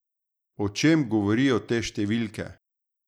O čem govorijo te številke?